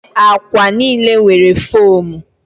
Akwa niile nwere fomu